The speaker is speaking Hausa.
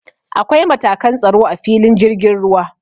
Akwai matakan tsaro a filin jirgin ruwa.